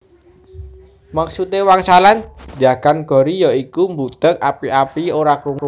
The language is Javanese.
Maksude wangsalan njagan gori ya iku mbudheg api api ora krungu